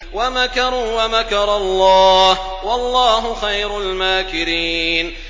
وَمَكَرُوا وَمَكَرَ اللَّهُ ۖ وَاللَّهُ خَيْرُ الْمَاكِرِينَ